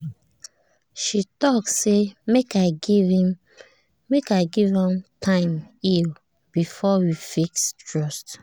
she tok say make i give m time heal before we fix trust